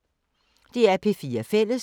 DR P4 Fælles